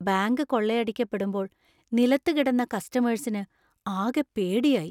Bank കൊള്ളയടിക്കപ്പെടുമ്പോൾ നിലത്തു കിടന്ന കസ്റ്റമേഴ്സിന് ആകെ പേടിയായി .